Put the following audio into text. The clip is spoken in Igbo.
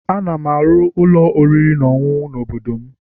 Ana m arụ ụlọ oriri na ọṅụṅụ n'obodo m